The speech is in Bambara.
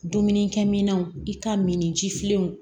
Dumunikɛminɛnw i ka min jifilenw